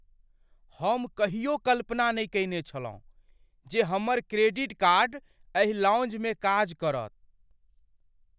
हम कहियो कल्पना नहि कयने छलहुँ जे हमर क्रेडिट कार्ड एहि लाउंजमे काज करत!